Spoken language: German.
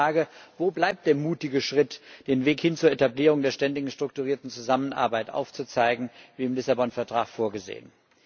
Ich frage Wo bleibt der mutige Schritt, den Weg hin zur Etablierung einer ständigen strukturierten Zusammenarbeit aufzuzeigen, wie im Vertrag von Lissabon vorgesehen?